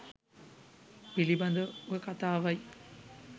පිළිබඳව කතාවයි.